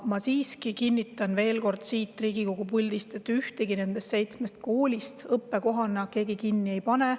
Ma veel kord kinnitan siit Riigikogu puldist üle, et ühtegi nendest seitsmest koolist õppekohana kinni ei panda.